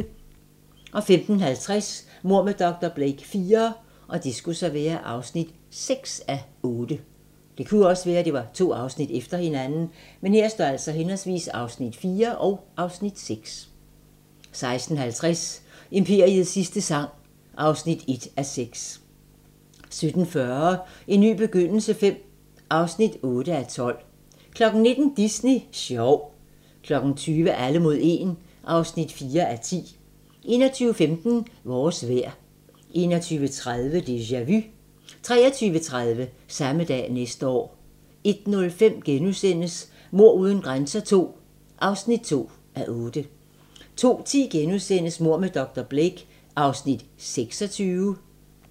15:50: Mord med dr. Blake IV (6:8) 16:50: Imperiets sidste sang (1:6) 17:40: En ny begyndelse V (8:12) 19:00: Disney sjov 20:00: Alle mod 1 (4:10) 21:15: Vores vejr 21:30: Déjà Vu 23:30: Samme dag næste år 01:05: Mord uden grænser II (2:8)* 02:10: Mord med dr. Blake (Afs. 26)*